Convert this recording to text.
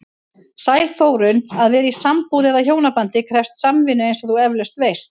Sæl Þórunn, að vera í sambúð eða hjónabandi krefst samvinnu eins og þú efalaust veist.